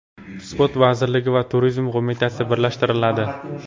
Sport vazirligi va Turizm qo‘mitasi birlashtiriladi.